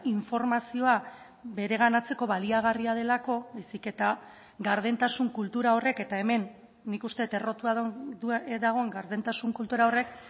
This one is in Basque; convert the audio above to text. informazioa bereganatzeko baliagarria delako baizik eta gardentasun kultura horrek eta hemen nik uste dut errotua dagoen gardentasun kultura horrek